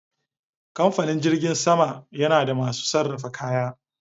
Kamfanin jirgin sama yana da masu sarrafa kaya